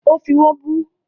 Ó fí wọ́n bú